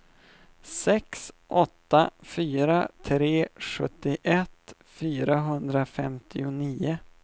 sex åtta fyra tre sjuttioett fyrahundrafemtionio